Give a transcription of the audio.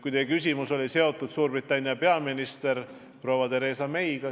Teie küsimus oli seotud Suurbritannia peaministri proua Theresa Mayga.